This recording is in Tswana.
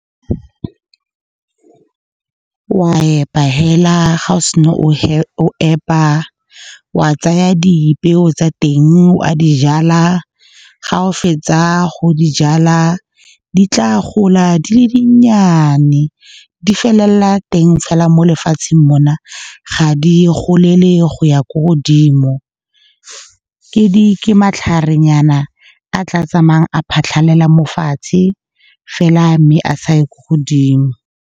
Wa epa fela ga o sena go epa, wa tsaya dipeo tsa teng, wa di jala. Ga o fetsa go di jala, di tla gola di le dinnyane, di felelela teng fela mo lefatsheng mo na. Ga di golele go ya ko godimo, ke matlharenyana a tla tsamayang a phatlhalela mo fatshe fela mme a sa ye ko godimo.